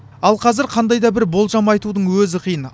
ал қазір қандай да бір болжам айтудың өзі қиын